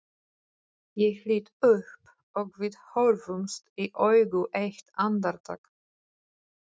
Ég lít upp og við horfumst í augu eitt andartak.